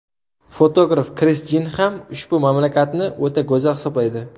Fotograf Kris Jin ham ushbu mamlakatni o‘ta go‘zal hisoblaydi.